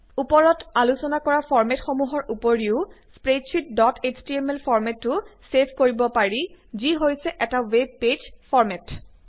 উপৰত আলোচনা কৰা ফৰ্মেটসমূহৰ উপৰিও স্প্ৰেডশ্বিট ডট এছটিএমএল ফৰ্মেটতো ছেভ কৰিব পাৰি যি হৈছে এটা ৱেব পেইজ ফৰ্মেট